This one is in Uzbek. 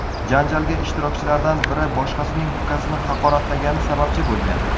Janjalga ishtirokchilardan biri boshqasining ukasini haqoratlagani sababchi bo‘lgan.